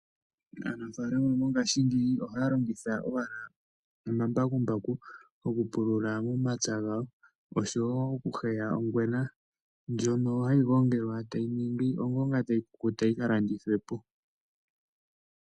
Aanafaalama mongaashingeyi ohaya longitha owala omambakumbaku okupulula omapya gawo, oshowo oku heya ongwena, ndjono hayi gongelwa, etayi ningi ongonga, yo tayi kukuta yi kalandithwe po.